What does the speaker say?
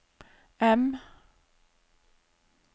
M